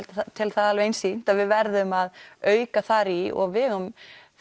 tel það einsýnt að við verðum að auka þar í og við eigum